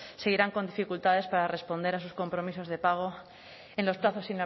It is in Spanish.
seguirán con dificultades para responder a sus compromisos de pago en los plazos